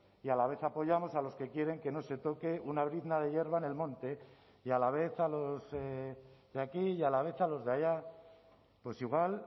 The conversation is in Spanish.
y a la vez apoyamos a los que quieren que no se toque una brizna de hierba en el monte y a la vez a los de aquí y a la vez a los de allá pues igual